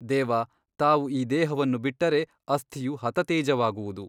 ದೇವಾ ತಾವು ಈ ದೇಹವನ್ನು ಬಿಟ್ಟರೆ ಅಸ್ಥಿಯು ಹತತೇಜವಾಗುವುದು.